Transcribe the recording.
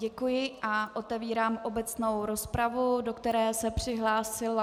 Děkuji a otevírám obecnou rozpravu, do které se přihlásila...